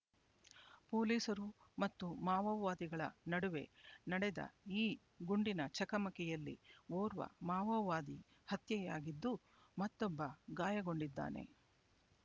ಪೊಲೀಸರು ಮತ್ತು ಮಾವೋವಾದಿಗಳ ನಡುವೆ ನಡೆದ ಈ ಗುಂಡಿನ ಚಕಮಕಿಯಲ್ಲಿ ಓರ್ವ ಮಾವೋವಾದಿ ಹತ್ಯೆಯಾಗಿದ್ದು ಮತ್ತೊಬ್ಬ ಗಾಯಗೊಂಡಿದ್ದಾನೆ